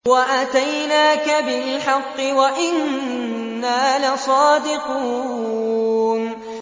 وَأَتَيْنَاكَ بِالْحَقِّ وَإِنَّا لَصَادِقُونَ